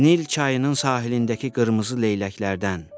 Nil çayının sahilindəki qırmızı leyləklərdən.